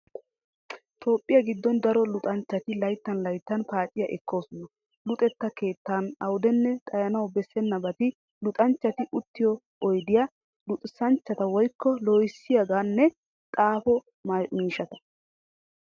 Toophphiyaa giddon daro luxanchchati layttan layttan paaciyaa ekkoosona. Luxetta keettan awudenne xayanawu bessennabati luxanchchati uttiyo oydiyaa, luxxissanchchaa woykko loohissiyaagaanne xaafo miishshata